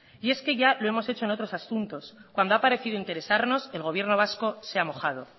y es que ya lo hemos hecho en otros asuntos cuando ha parecido interesarnos el gobierno vasco se ha mojado